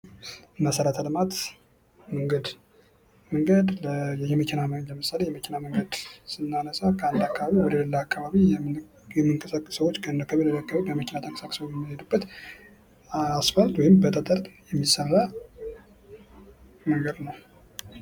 መሰረተ ልማት መንገድ፦ መንገድ ለምሳሌ የመኪና መንገድን ስናነሳ ከአንድ አካባቢ ወደ ሌላ አካባቢ የምንቀሳቀስ ሰዎች ከአንድ አካባቢ በመኪና ተንቀሳቅሰው የሚሄዱበት አስፋልት ወይም በጠጥር የሚሠራ መንገድ ነው።